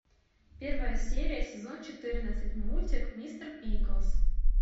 первая серия сезон четырнадцать мультик мистер пиклз